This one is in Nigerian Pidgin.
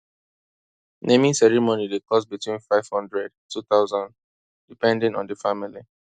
naming ceremony dey cost between five hundred two thousand depending on di family